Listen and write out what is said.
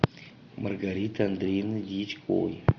маргариты андреевны дьячковой